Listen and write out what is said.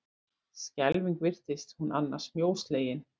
Skelfing virtist hún annars mjóslegin!